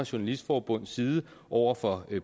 journalistforbunds side over for